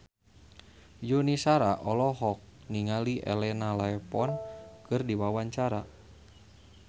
Yuni Shara olohok ningali Elena Levon keur diwawancara